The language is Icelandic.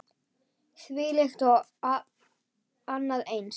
Þvílíkt og annað eins.